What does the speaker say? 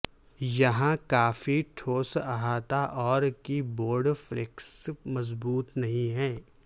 یہاں کافی ٹھوس احاطہ اور کی بورڈ فلیکس مضبوط نہیں ہے